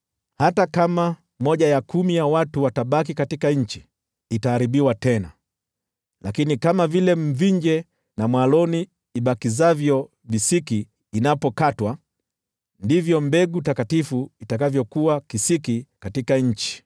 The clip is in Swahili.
Hata kama sehemu ya kumi ya watu watabaki katika nchi, itaharibiwa tena. Lakini kama vile mvinje na mwaloni ibakizavyo visiki inapokatwa, ndivyo mbegu takatifu itakavyokuwa kisiki katika nchi.”